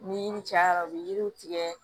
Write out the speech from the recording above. Ni yiri cayara u bɛ yiriw tigɛ